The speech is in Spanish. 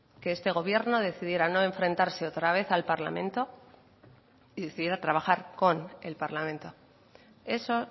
que este gobierno decidiera no enfrentarse otra vez al parlamento y decidiera trabajar con el parlamento eso